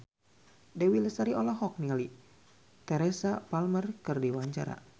Dewi Lestari olohok ningali Teresa Palmer keur diwawancara